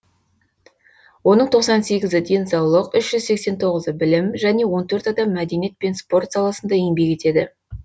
оның тоқсан сегізі денсаулық үш жүз сексен тоғызы білім және он төрт адам мәдениет пен спорт саласында еңбек етеді